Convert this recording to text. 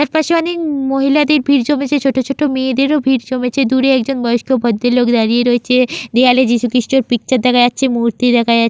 চারপাশে অনেক মহিলাদের ভিড় জমেছে ছোটো ছোটো মেয়েদের ও ভিড় জমেছে দূরে একজন বয়স্ক ভদ্র লোক দারিয়ে রয়েছে দেওয়ালে যীশু খ্রীষ্রের পিকচার দেখা যাচ্ছে মূর্তি দেখা যা --